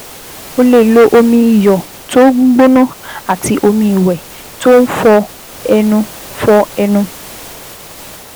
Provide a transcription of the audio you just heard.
O lè lo omi iyọ̀ tó ń gbóná àti omi ìwẹ̀ tó ń fọ ẹnu fọ ẹnu